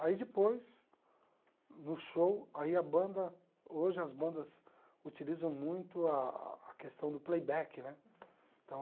Aí depois, no show, aí a banda hoje as bandas utilizam muito a questão do playback né então